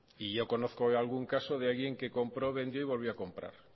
y yo conozco de algún caso de alguien que compró vendió y lo volvió a comprar